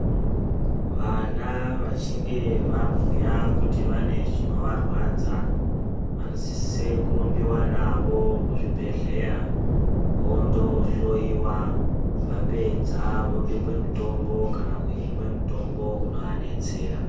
Vana vachinge vabhuya kuti vane zvinovarwadza vanosise kurumbiwa navo kuzvibhedhleya vondohloiwa vapedza vobekwe mutombo kana kuhinwe mutombo unovadetsara.